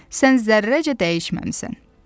Sən zərrəcə dəyişməmisən.